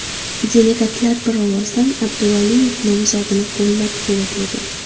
Delegatlar bir ovozdan Abduvaliyev nomzodini qo‘llab-quvvatlagan.